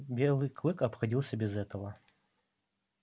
белый клык обходился без этого